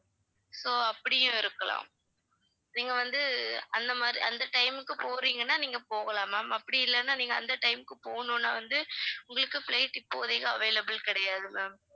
so அப்படியும் இருக்கலாம் நீங்க வந்து அந்த மாதிரி அந்த time க்கு போறீங்கனா நீங்க போகலாம் ma'am அப்படி இல்லன்னா நீங்க அந்த time க்கு போகணும்னா வந்து உங்களுக்கு flight இப்போதைக்கு available கிடையாது ma'am